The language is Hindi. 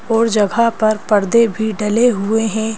और जगह पर पर्दे भी डले हुए है।